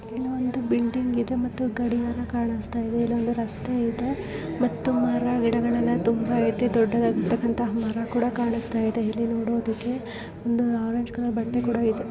ಇದು ಒಂದು ಬಿಲ್ಡಿಂಗ್ ಇದೆ ಮತ್ತು ಗಡಿಯಾರ ಕಾಣಿಸ್ತಾ ಇದೆ. ಇಳೊಂದು ರಸ್ತೆ ಇದೆ .ಮತ್ತು ಮಾರಾಗಿಡಗಳೆಲ್ಲ ತುಂಬಾ ಐತಿ ದೊಡದಾಗಿದಂತ ಮರ ಕೂಡ ಕಾನ್ಸಿತಾ ಇದೆ. ಇಲ್ಲಿ ನೋಡದಕೆ ಒಂದು ಆರೆಂಜ್ ಕಲರ್ ಬಟ್ಟೆ ಕೂಡ ಇದೆ .